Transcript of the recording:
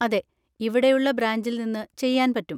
അതെ, ഇവിടെയുള്ള ബ്രാഞ്ചിൽ നിന്ന് ചെയ്യാൻ പറ്റും.